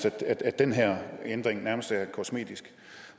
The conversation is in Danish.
at den her ændring nærmest er kosmetisk